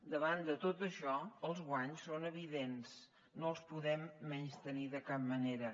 davant de tot això els guanys són evidents no els podem menystenir de cap manera